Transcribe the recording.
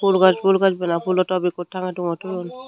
phool gaj phool gaj bana phoolo top ekko tangey tungai toyun.